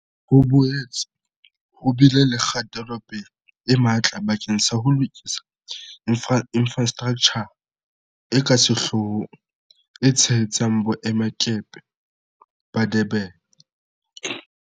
Ho boetse ho bile le kgatelopele e matla bakeng sa ho lokisa infrastraktjha e ka sehloohong e tshehetsang Boemakepe ba Durban.